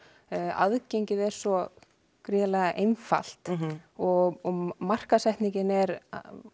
aðgengið er svo gríðarlega einfalt og markaðssetningin er